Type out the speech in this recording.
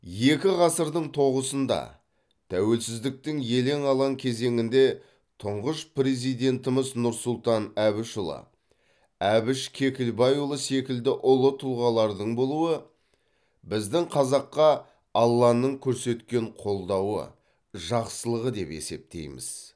екі ғасырдың тоғысында тәуелсіздіктің елең алаң кезеңінде тұңғыш президентіміз нұрсұлтан әбішұлы әбіш кекілбайұлы секілді ұлы тұлғалардың болуы біздің қазаққа алланың көрсеткен қолдауы жақсылығы деп есептейміз